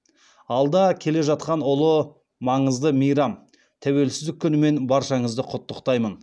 алда келе жатқан ұлы маңызды мейрам тәуелсіздік күнімен баршаңызды құттықтаймын